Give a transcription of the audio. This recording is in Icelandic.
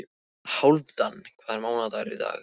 Hálfdan, hvaða mánaðardagur er í dag?